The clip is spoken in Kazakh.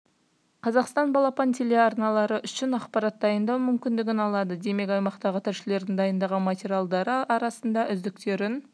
қазақстан балапан телеарналары үшін ақпарат дайындау мүмкіндігін алады демек аймақтағы тілшілердің дайындаған материалдары арасында үздіктерін